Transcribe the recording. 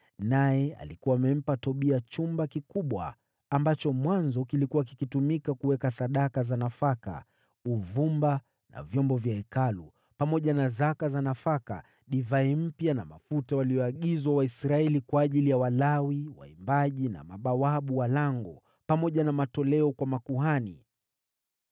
naye alikuwa amempa Tobia chumba kikubwa ambacho mwanzo kilikuwa kikitumika kuweka sadaka za nafaka, uvumba na vyombo vya Hekalu, pamoja na zaka za nafaka, divai mpya na mafuta waliyoagizwa Waisraeli kwa ajili ya Walawi, waimbaji na mabawabu wa lango, pamoja na matoleo kwa makuhani.